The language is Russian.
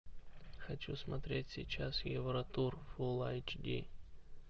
хочу смотреть сейчас евротур фул айч ди